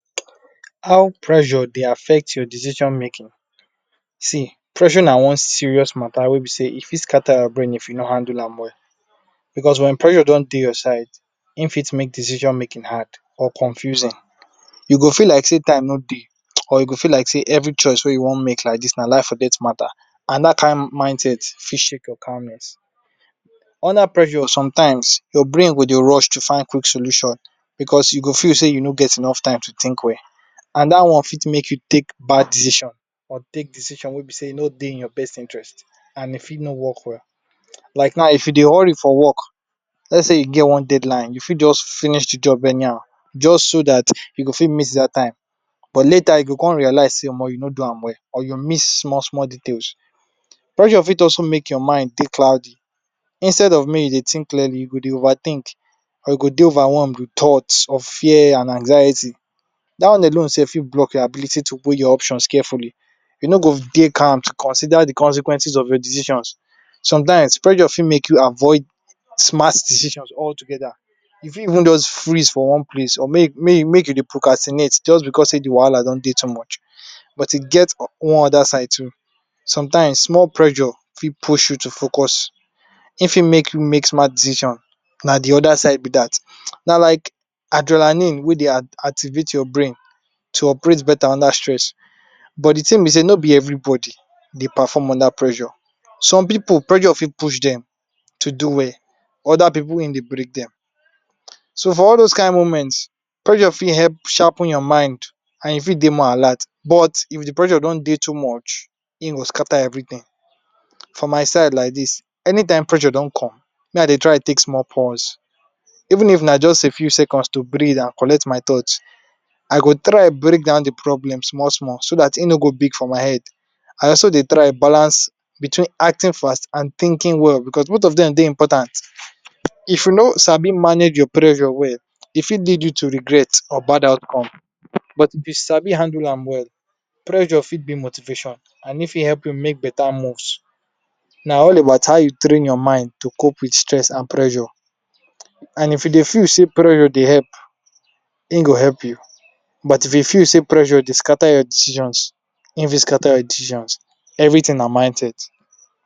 How pressure Dey affect your decision making see pressure na one serious matta wey be sey e fit scatter your brain if you no handle am well because when pressure don Dey your side im fit make decision making hard or confusing you go feel like sey time no Dey or you go feel like sey every choice wey you wan make like dis na life or death matter and dat kin mindset fit shake your calmness under pressure sometimes your brain go Dey rush to find quick solution because you go feel sey you no get enough time to think well and dat wan fit make you take bad decision or take decision wey be sey e no Dey in your best interest and e fit no work well like now if you Dey hurry for work let sey you get one deadline you fit just finish de work anyhow just so dat you go fit meet dat time but later you go come realize sey omo you no do am well or you miss small small detail pressure fit also make your mind Dey cloudy instead of may you Dey think clearly you go Dey over think or you go Dey overwhelm with thought of fair and anxiety dat one alone sef fit block your ability to weigh your options carefully you no go Dey calm to consider de consequences of your decisions sometimes pressure fit make you avoid smart decisions all together you fit even just freeze for one place or ma ma make you Dey procrastinate just because sey de wahala don too much but e get one oda side too sometimes small pressure fit push you to focus im fit make you make smart decision na de oda side be dat na like adrenaline we Dey activate your brain to operate better under stress but de thing b sey no be everybody Dey perform under pressure some pipu pressure fit push dem to do well oda pipu im Dey break dem so for all dose kin moments pressure fit help sharpen your mind and you fit more alert but if de pressure don Dey too much im go scatter every thing for myside like dis anytime pressure don come me I Dey try take small pause even if am just a few seconds to breath and collect my thoughts I go try break down de problem small small so dat im no go big for my head and I also Dey try balance between acting fast and thinking well because both of dem dey important if you no sabi manage you pressure well e fit lead you to regret or bad outcome but if you sabi handle am well pressure fit be motivation and im fit help you make better moves na all about how you train your mind to cope with stress and pressure and if you Dey feel sey pressure Dey help im go help you but if you feel sey pressure Dey scatter your decisions im fit scatter your decisions everything na mindset.